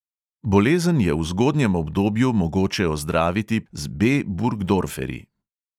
Bolezen je v zgodnjem obdobju mogoče ozdraviti z B burgdorferi.